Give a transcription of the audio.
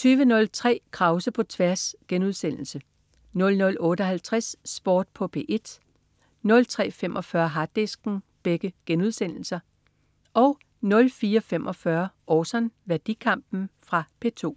20.03 Krause på tværs* 00.58 Sport på P1* 03.45 Harddisken* 04.45 Orson. Værdikampen. Fra P2